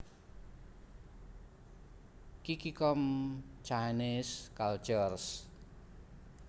Qiqi com Chinese Cultures